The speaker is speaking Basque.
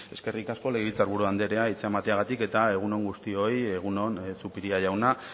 eskerrik asko legebiltzar buru anderea hitza emateagatik eta egun on guztioi egun on zupiria jauna